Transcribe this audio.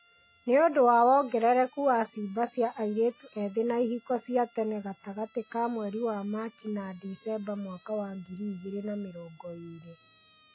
Nĩ ũndũ wa wongerereku wa ciimba cia airĩtu ethĩ na ihiko cia tene gatagatĩ ka mweri wa Machi na Dicemba mwaka wa ngiri igĩrĩ na mĩrongo ĩĩrĩ.